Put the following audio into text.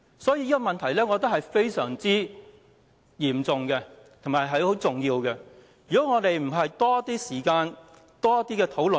所以，我覺得這個問題非常重要，影響將非常深遠，必須多花些時間討論。